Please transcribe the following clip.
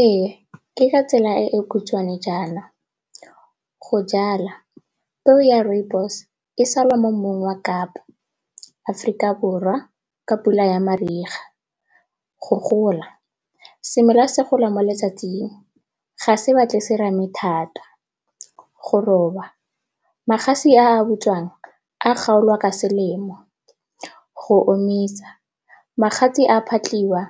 Ee, ke ka tsela e e khutshwane jaana. Go jala, peo ya Rooibos e sala mo mmung wa kapa, Aforika Borwa ka pula ya mariga. Go gola, semela se gola mo letsatsing ga se batle serame thata. Go roba, magatse a a bojwang a a kgaolwa ka selemo. Go omisa, magatse a phatlhiwa